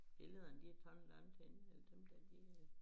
Billederne de taget langt henne eller dem dér de øh